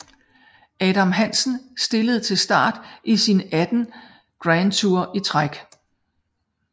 Adam Hansen stillede til start i sin 18 Grand Tour i træk